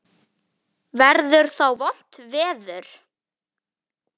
Verður þá vont veður?